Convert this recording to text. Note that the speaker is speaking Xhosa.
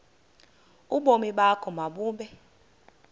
ubomi bakho mabube